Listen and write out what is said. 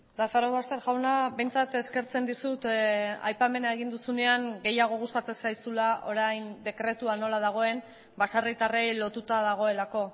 lazarobaster jauna behintzat eskertzen dizut aipamena egin duzunean gehiago gustatzen zaizula orain dekretua nola dagoen baserritarrei lotuta dagoelako